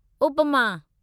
upma